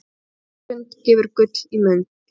Morgunstund gefur gull í mund.